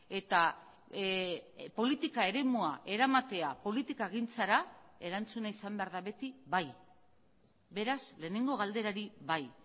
eta politika eremua eramatea politikagintzara erantzuna izan behar da beti bai beraz lehenengo galderari bai